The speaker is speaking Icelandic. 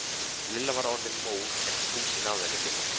Lilla var orðin móð en Fúsi náði henni ekki.